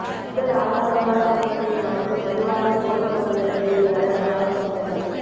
முதல் ஆடம்பரமான பொருட்களை மறந்து மலிவான கோல்ஃப் பந்துகளில் விளையாட கவனம் செலுத்துங்கள்